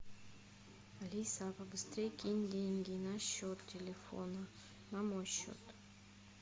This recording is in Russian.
алиса побыстрей кинь деньги на счет телефона на мой счет